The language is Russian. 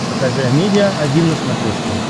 покажи амедиа один на смотрешке